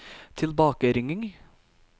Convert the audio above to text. tilbakeringing